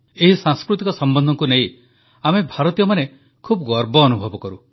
ଏହି ସାଂସ୍କୃତିକ ସମ୍ବନ୍ଧକୁ ନେଇ ଆମେ ଭାରତୀୟମାନେ ଖୁବ୍ ଗର୍ବ ଅନୁଭବ କରୁ